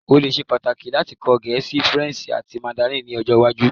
O le ṣe pataki lati kọ Gẹẹsi, Faranse ati Mandarin ni ọjọ iwaju